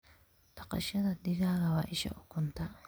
Dhaqashada digaaga waa isha ukunta.